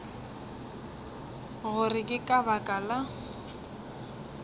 gore ke ka baka la